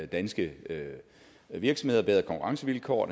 danske virksomheder bedre konkurrencevilkår og